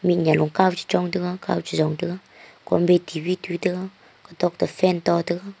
mih nyia long kow chong te ga ao beti bhi tute ga katok toh fan to tega.